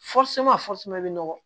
bɛ nɔgɔ